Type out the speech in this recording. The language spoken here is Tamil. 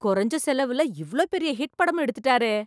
குறைஞ்ச செலவுல இவ்ளோ பெரிய ஹிட் படம் எடுத்துட்டாரே.